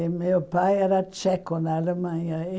E meu pai era tcheco na Alemanha.